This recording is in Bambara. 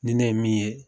Ni ne ye min ye